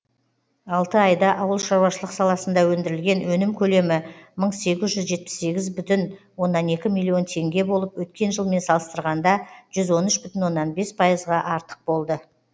алты айда ауыл шаруашылық саласында өндірілген өнім көлемі мың сегіз жүз жетпіс сегіз бүтін оннан екі миллион теңге болып өткен жылмен салыстырғанда жүз он үш бүтін оннан бес пайызға артық болды